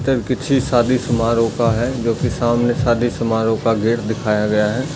शादी समारोह का है जो कि सामने शादी समारोह का गेट दिखाया गया है।